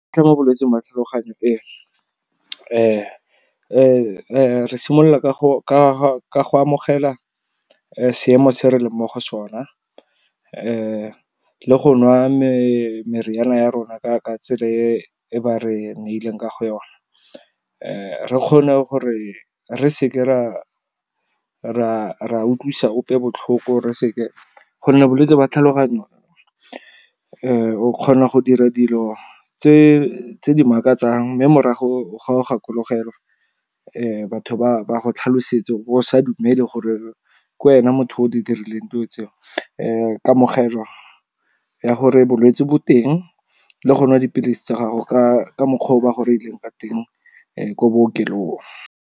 Ke mo bolwetsing jwa tlhaloganyo re simolola ka go amogela seemo se re leng mo go sona le go nwa meriana ya rona ka tsela e ba re neileng kaga yona. Re kgone gore re seke ra utlwisa ope botlhoko, gonne bolwetse ba tlhaloganyo o kgona go dira dilo tse di makatsang. Mme morago ga o gakologelwa, batho ba tlhalosetse, o bo o sa dumele gore ke wena motho o di dirileng dilo tseo. Kamogelwa ya gore bolwetse bo teng le go nwa dipilisi tsa gago ka mokgwa o ba gore reileng ka teng ko bookelong.